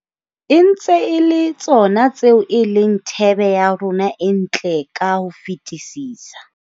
E ntse e le tsona tseo e leng thebe ya rona e ntle ka ho fetisisa.